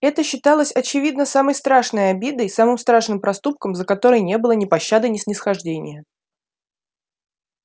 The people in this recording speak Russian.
это считалось очевидно самой страшной обидой самым страшным проступком за который не было ни пощады ни снисхождения